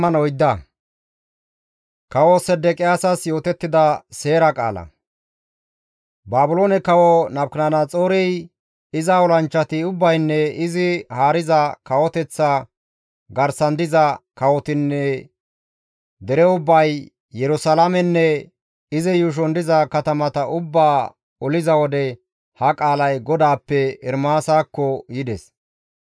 Baabiloone kawo Nabukadanaxoorey, iza olanchchati ubbaynne izi haariza kawoteththa garsan diza kawotinne dere ubbay, Yerusalaamenne izi yuushon diza katamata ubbaa oliza wode ha qaalay GODAAPPE Ermaasakko yides.